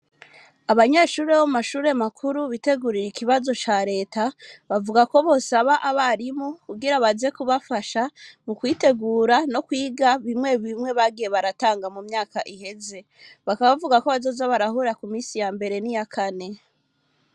Abanyeshuri bo mu mashuri makuru bitegurira ikibazo ca reta bavugako bosaba abarimu kugira baze kubafasha mu kwitegura no kwiga bimwe bimwe bagiye baratanga mu myaka iheze, bakaba bavuga ko bazoza barahura ku minsi yambere n'iyakane.